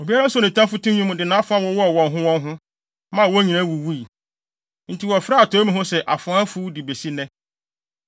Obiara soo ne tamfo tinwi mu, de nʼafoa wowɔɔ wɔn ho wɔn ho, maa wɔn nyinaa wuwui. Enti wɔfrɛ atɔe mu hɔ se Afoa Afuw de besi nnɛ.